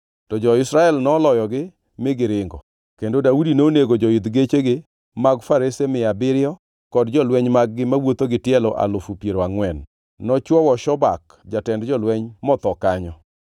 To jo-Israel noloyogi mi giringo, kendo Daudi nonego joidh gechegi mag farese mia abiriyo kod jolweny mag-gi mawuotho gi tielo alufu piero angʼwen. Nochwowo Shobak jatend jolweny, motho kanyo.